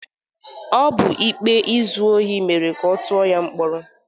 Ọ bụ ikpe izu ohi mere ka ọ tụọ ya mkpọrọ.